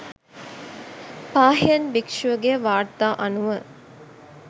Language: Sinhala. පාහියන් භික්‍ෂුවගේ වාර්තා අනුව